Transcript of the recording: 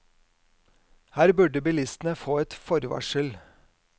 Her burde bilistene få ett forvarsel.